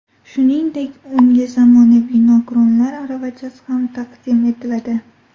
Shuningdek, unga zamonaviy nogironlar aravachasi ham taqdim etiladi.